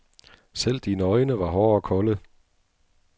Selv dine øjne var hårde og kolde.